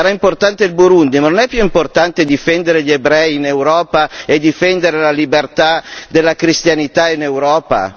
Sarà importante il Burundi, ma non è più importante difendere gli ebrei in Europa e difendere la libertà della cristianità in Europa?